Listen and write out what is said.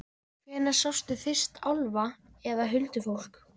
Hvenær sástu fyrst álfa eða huldufólk?